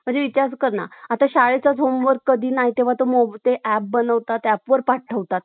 तो आता, भाग बारा मधील कलम तीनशे A अंतर्गत, तो मुलभूत हक्क नस~ एक कायदेशीर हक्क बनेलेला आहे.